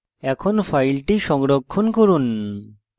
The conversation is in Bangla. এখন file সংরক্ষণ করুন